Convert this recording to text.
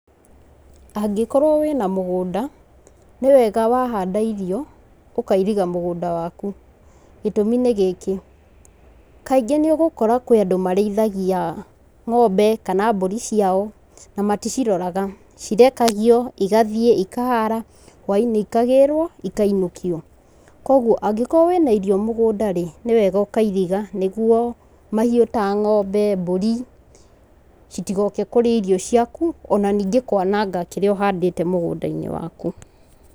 Angĩkorwo wĩna mũgũnda nĩ wega wahanda irio, ũkairiga mũgũnda waku gĩtũmi nĩ gĩkĩ, kaingĩ nĩ ũgũkũra kũrĩ andũ marĩithagia ng'ombe kana mbũri ciao, na maticiroraga, cirekagio igathie ikahata hwainĩ igathiĩ ikagĩrwo ikainũkio, kwoguo angĩkorwo wĩna irio mũgũnda rĩ nĩ wega ũkairiga nĩguo mahiũ ta ma ng'ombe, mbũri itigoke kũrĩa irio ciaku ona ningĩ kwananga kĩrĩa ũhandĩte mũgũnda-inĩ waku.